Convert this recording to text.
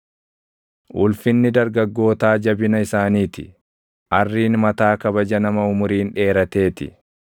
Ulfinni dargaggootaa jabina isaanii ti; arriin mataa kabaja nama umuriin dheeratee ti.